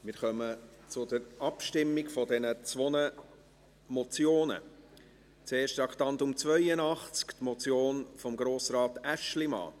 Wir kommen zur Abstimmung über diese zwei Motionen, zuerst zu Traktandum 82, die Motion von Grossrat Aeschlimann: